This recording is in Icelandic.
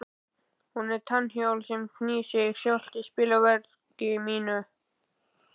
Hún er tannhjól sem knýr sig sjálft í spilverki mínu.